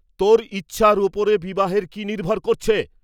তোর ইচ্ছার উপর বিবাহের কি নির্ভর করছে?